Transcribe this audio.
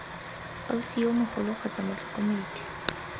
ausi yo mogolo kgotsa motlhokomedi